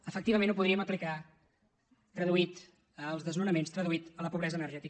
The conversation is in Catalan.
efectivament ho podríem aplicar traduït als desnonaments traduït a la pobresa energètica